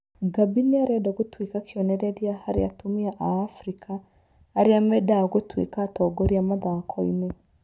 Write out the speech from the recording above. Gabby nĩ arenda gũtuĩka kĩonereria harĩ atumia a Afrika arĩa mendaga gũtuĩka atongoria mathako-inĩ.